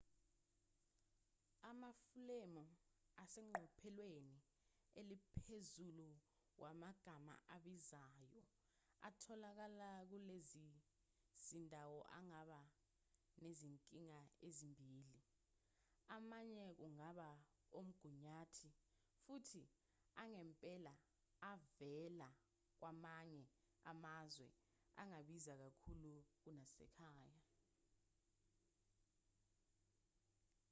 amafulemu aseqophelweni eliphezulu wamagama abizayo atholakala kulezi zindawo angaba nezinkinga ezimbili amanye kungaba omgunyathi futhi angempela avela kwamanye amazwe angabiza kakhulu kunasekhaya